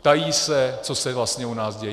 Ptají se, co se vlastně u nás děje.